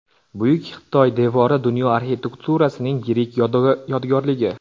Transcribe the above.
Buyuk Xitoy devori dunyo arxitekturasining yirik yodgorligi.